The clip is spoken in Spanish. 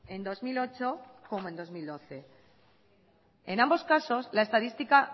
en dos mil ocho como en dos mil doce en ambos casos la estadística